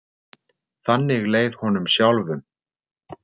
Þannig leið honum sjálfum.